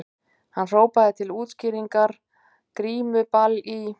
Hann hrópaði til útskýringar:- Grímuball í